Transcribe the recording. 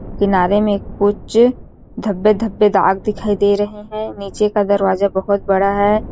किनारे में कुछ धब्बे-धब्बे दाग दिखाई दे रहै हैं नीचे का दरवाजा बहुत बड़ा है।